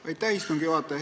Aitäh, istungi juhataja!